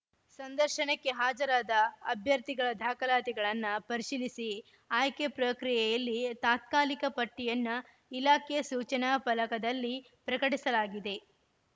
ಸಂದರ್ಶನಕ್ಕೆ ಹಾಜರಾದ ಅಭ್ಯರ್ಥಿಗಳ ದಾಖಲಾತಿಗಳನ್ನ ಪರಿಶೀಲಿಸಿ ಆಯ್ಕೆ ಪ್ರಕ್ರಿಯೆಯಲ್ಲಿ ತಾತ್ಕಾಲಿಕ ಪಟ್ಟಿಯನ್ನ ಇಲಾಖೆಯ ಸೂಚನಾ ಫಲಕದಲ್ಲಿ ಪ್ರಕಟಿಸಲಾಗಿದೆ